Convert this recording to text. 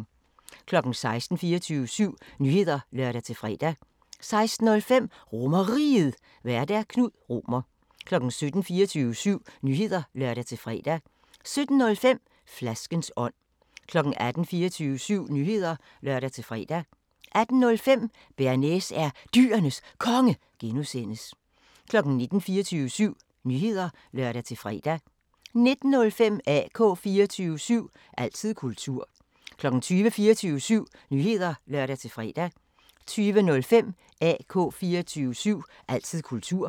16:00: 24syv Nyheder (lør-fre) 16:05: RomerRiget, Vært: Knud Romer 17:00: 24syv Nyheder (lør-fre) 17:05: Flaskens ånd 18:00: 24syv Nyheder (lør-fre) 18:05: Bearnaise er Dyrenes Konge (G) 19:00: 24syv Nyheder (lør-fre) 19:05: AK 24syv – altid kultur 20:00: 24syv Nyheder (lør-fre) 20:05: AK 24syv – altid kultur